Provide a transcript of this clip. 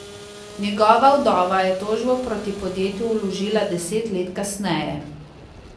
Njegova vdova je tožbo proti podjetju vložila deset let kasneje.